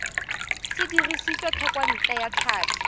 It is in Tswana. se dirisitswe thekontle ya tlhapi